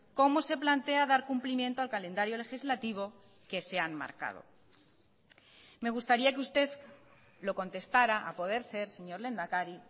cómo se plantea dar cumplimiento al calendario legislativo que se han marcado me gustaría que usted lo contestará a poder ser señor lehendakari